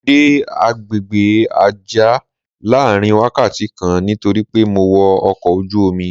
Mo dé àgbègbè Àjá láàárín wákàtí kan nítorí pé mo wọ ọkọ̀ ojú-omi.